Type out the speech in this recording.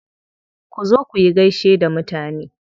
Ku zo kuyi gaishe da mutane.